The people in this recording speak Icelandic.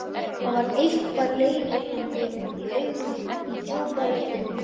Það var eitthvað leitandi í augunum, í djúpri röddinni.